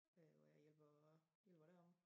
Øh hvor jeg hjælper hjælper deromme